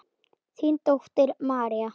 Þín dóttir María.